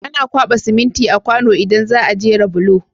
Ana kwaba siminti a kwano idan zaa jera bulo